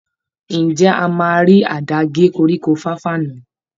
Ǹjẹ́ a máa rí àdá gé koríko fàfà náà?